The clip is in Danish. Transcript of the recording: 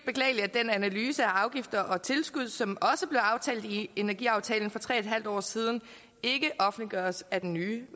den analyse af afgifter og tilskud som også blev aftalt i energiaftalen for tre en halv år siden ikke offentliggøres af den nye